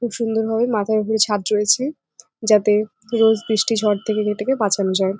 খুব সুন্দর ভাবে মাথার উপরে ছাদ রয়েছে। যাতে রোজ বৃষ্টি ঝড় থেকে এটাকে বাঁচানো যায়।